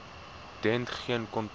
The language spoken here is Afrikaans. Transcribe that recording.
dent geen kontak